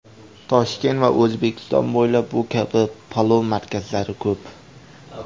Toshkent va O‘zbekiston bo‘ylab bu kabi palov markazlari ko‘p.